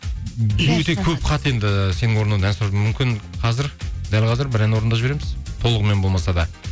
өте көп хат енді сенің орындауында ән сұрап мүмкін қазір дәл қазір бір ән орындап жібереміз толығымен болмаса да